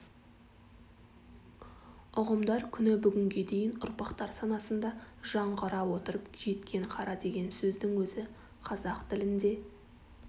ұғымдар күні бүгінге дейін ұрпақтар санасында жаңғыра отырып жеткен қара деген сөздің өзі қазақ тілінде